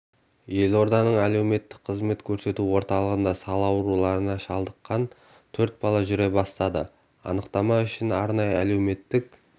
елорданың әлеуметтік қызмет көрсету орталығында сал ауруына шалдыққан төрт бала жүре бастады анықтама үшін арнайы әлеуметтік